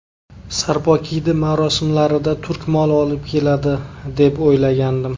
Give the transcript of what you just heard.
Sarpokiydi marosimlarida turk moli olib keladi, deb o‘ylagandim.